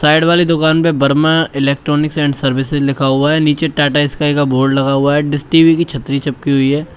Side वाली दुकान पे बर्मा इलेक्ट्रॉनिक्स एंड सर्विसेज लिखा हुआ है नीचे टाटा स्काई का बोर्ड लगा हुआ है डिश टी_वी की छतरी चिपकी हुई है।